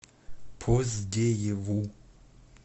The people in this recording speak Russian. поздееву